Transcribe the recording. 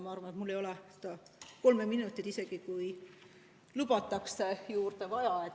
Arvan, et mul ei ole seda kolme minutit, isegi kui lubatakse, juurde vaja.